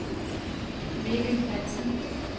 Mikkel Hansen